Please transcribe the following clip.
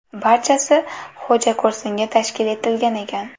Barchasi xo‘jako‘rsinga tashkil etilgan ekan.